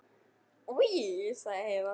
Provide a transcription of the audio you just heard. Oj, sagði Heiða.